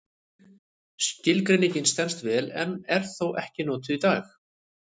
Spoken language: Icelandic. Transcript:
Skilgreiningin stenst vel en er þó ekki notuð í dag.